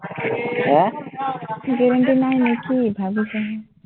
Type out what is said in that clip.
এৰ payment টো নাই নেকি, ভাৱিছহে?